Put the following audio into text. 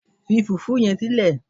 fi fufu yen sile